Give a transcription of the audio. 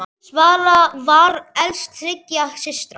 Svala var elst þriggja systra.